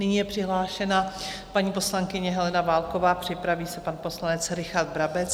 Nyní je přihlášena paní poslankyně Helena Válková, připraví se pan poslanec Richard Brabec.